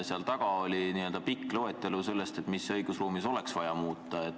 Selle lõpus oli pikk loetelu sellest, mida õigusruumis oleks vaja muuta.